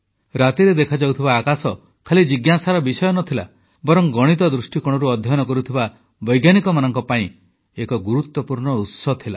ରାତିରେ ଦେଖାଯାଉଥିବା ଆକାଶ ଖାଲି ଜିଜ୍ଞାସାର ବିଷୟ ନ ଥିଲା ବରଂ ଗଣିତ ଦୃଷ୍ଟିକୋଣରୁ ଅଧ୍ୟୟନ କରୁଥିବା ବୈଜ୍ଞାନିକମାନଙ୍କ ପାଇଁ ଏକ ଗୁରୁତ୍ୱପୂର୍ଣ୍ଣ ଉତ୍ସ ଥିଲା